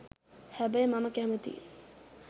හැබැයි මම කැමති